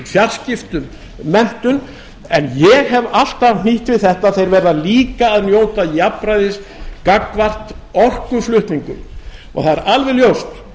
fjarskiptum menntun en ég hef alltaf hnýtt við þetta að þeir verða líka að njóta jafnræðis gagnvart orkuflutningum það er alveg ljóst